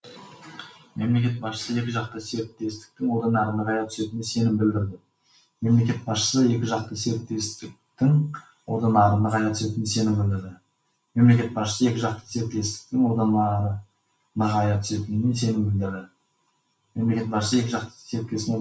мемлекет басшысы екіжақты серіктестіктің одан әрі нығая түсетініне сенім білдірді